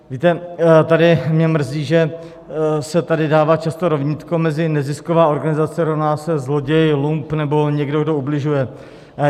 Víte, tady mě mrzí, že se tady dává často rovnítko mezi nezisková organizace rovná se zloděj, lump nebo někdo, kdo ubližuje.